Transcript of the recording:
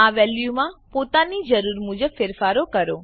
આ વેલ્યુઓમાં પોતાની જરૂર મુજબ ફેરફાર કરો